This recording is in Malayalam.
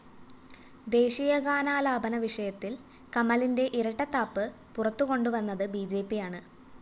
ദേശീയഗാനാലാപന വിഷയത്തില്‍ കമലിന്റെ ഇരട്ടത്താപ്പ് പുറത്തുകൊണ്ടുവന്നത് ബിജെപിയാണ്